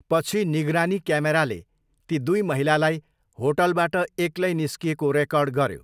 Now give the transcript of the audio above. पछि, निगरानी क्यामेराले ती दुई महिलालाई होटलबाट एक्लै निस्किएको रेकर्ड गऱ्यो।